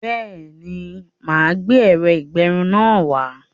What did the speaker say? Béèni, máa gbé ẹ̀rọ-ìgbẹrun náà wá